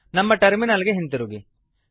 ನಮ್ಮ ಟರ್ಮಿನಲ್ ಗೆ ಹಿಂದಿರುಗಿ